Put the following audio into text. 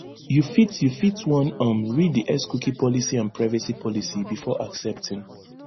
you fit you fit wan um read di xcookie policyandprivacy policybefore accepting